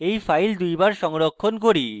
এই file দুইবার সংরক্ষণ করি: